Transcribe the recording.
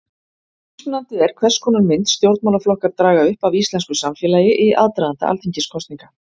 Mismunandi er hvers konar mynd stjórnmálaflokkar draga upp af íslensku samfélagi í aðdraganda alþingiskosninga.